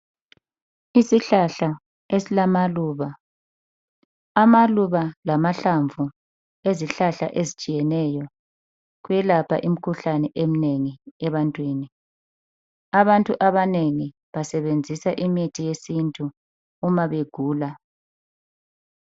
Isihlahla esilamaluba amaluba lamahlamvu ezihlahla ezitshiyeneyo kuyelapha imkhuhlane eminengi ebantwini abantu abanengi basebenzisa imithi yesintu uma begula.